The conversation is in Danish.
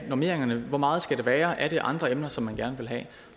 normeringerne hvor meget skal det være er der andre emner som man gerne vil have